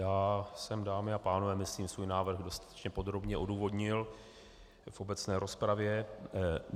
Já jsem, dámy a pánové, myslím svůj návrh dostatečně podrobně odůvodnil v obecné rozpravě.